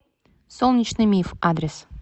солнечный миф адрес